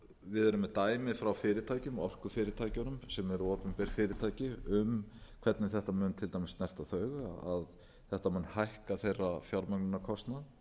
við erum með dæmi frá fyrirtækjum orkufyrirtækjunum sem eru opinber fyrirtæki um hvernig þetta muni til dæmis snerta þau að þetta mun hækka þeirra fjármögnunarkostnað